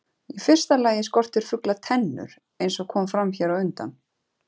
Í fyrsta lagi skortir fugla tennur eins og kom fram hér á undan.